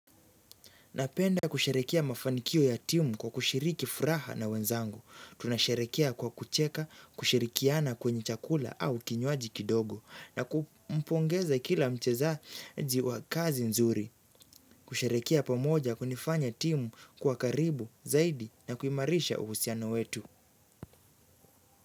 Napenda kusherehekea mafanikio ya timu kwa kushiriki furaha na wenzangu. Tunasherehekea kwa kucheka, kushirikiana kwenye chakula au kinywaji kidogo. Na kumpongeza kila mchezaji wa kazi nzuri. Kusherehekea pamoja kunifanya timu kua karibu zaidi na kuimarisha uhusiano wetu.